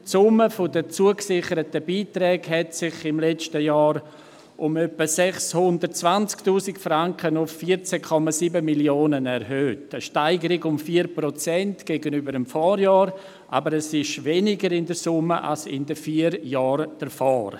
Die Summe der zugesicherten Beiträge erhöhte sich im letzten Jahr um etwa 620 000 Franken auf 14,7 Mio. Franken, eine Steigerung um 4 Prozent gegenüber dem Vorjahr, aber es ist in der Summe weniger als in den vier Jahren zuvor.